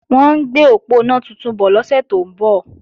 Wọ́n ń gbé òponá tuntun bọ̀ lọ́sẹ̀ tó ń bọ̀